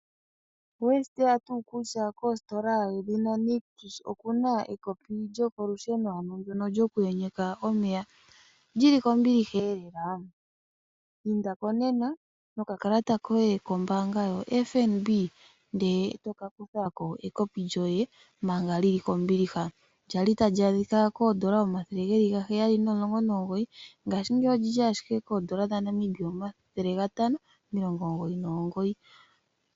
Oweshi tseya nga kutya kostola yo Nictus okuna ekopi lyokolusheno ano ndyoka lyoku yenyeka omeya, lili kombiliha elelela. Indako nena nokakalata koye kombanga yaFNB, etoka kuthako ekopi lyoye manga lili kombiliha, lyali tali adhika N$719, nngashingeyi olili ashike N$599.